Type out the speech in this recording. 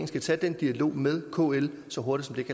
skal tage den dialog med kl så hurtigt